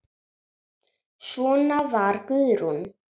Svona var Guðrún.